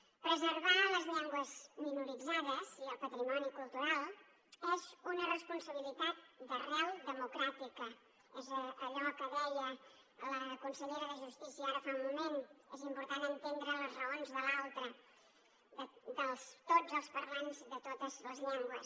preservar les llengües minoritzades i el patrimoni cultural és una responsabilitat d’arrel democràtica és allò que deia la consellera de justícia ara fa un moment és important entendre les raons de l’altre de tots els parlants de totes les llengües